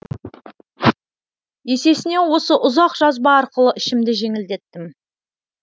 есесіне осы ұзақ жазба арқылы ішімді жеңілдеттім